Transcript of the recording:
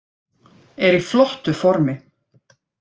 Er í flottu formi.